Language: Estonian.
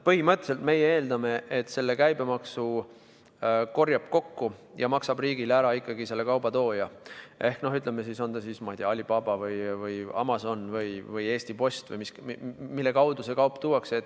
Põhimõtteliselt meie eeldame, et selle käibemaksu korjab kokku ja maksab riigile ära ikkagi selle kauba tooja, on ta siis Alibaba, Amazon või Eesti Post, mille kaudu see kaup siia tuuakse.